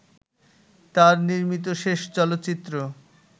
তার নির্মিত শেষ চলচ্চিত্র